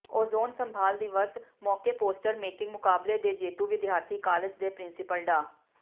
ozone ਸੰਭਾਲ ਦਿਵਸ ਮੌਕੇ ਪੋਸਟਰ ਮੇਕਿੰਗ ਮੁਕਾਬਲੇ ਦੇ ਜੇਤੂ ਵਿਦਿਆਰਥੀ ਕਾਲਜ ਦੇ ਪ੍ਰਿੰਸੀਪਲ ਡਾ